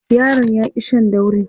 yaron ya ki Shan daurin